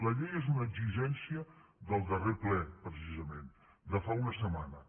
la llei és una exigència del darrer ple precisament de fa una setmana